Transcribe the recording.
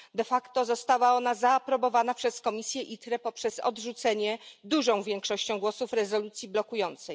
De facto została ona zaaprobowana przez komisję ITRE poprzez odrzucenie dużą większością głosów rezolucji blokującej.